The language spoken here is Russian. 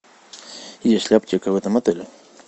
есть ли аптека в этом отеле